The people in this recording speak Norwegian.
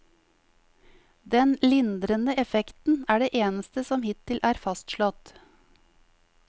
Den lindrende effekten er det eneste som hittil er fastslått.